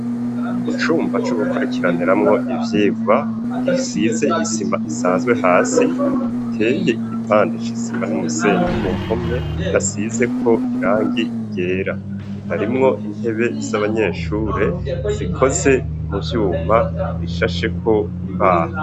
Icumba co gukurikiraniramwo ivyigwa gisize isima isanzwe hasi, giteye igipande c'isima n'umusenyi, ku mpome hasizeko irangi ryera. Harimwo intebe z'abanyeshure zikoze mu vyuma bishasheko imbaho.